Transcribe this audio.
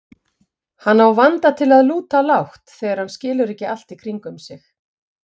Hann á vanda til að lúta lágt þegar hann skilur ekki allt í kringum sig.